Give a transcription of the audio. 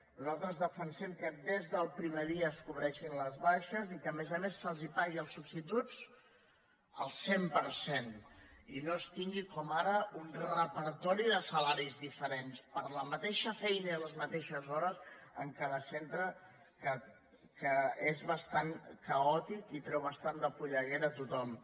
nosaltres defensem que des del primer dia es cobreixin les baixes i que a més a més se’ls pagui als substituts el cent per cent i no es tingui com ara un repertori de salaris diferents per la mateixa feina i les mateixes hores en cada centre que és bastant caòtic i treu bastant de polleguera a tothom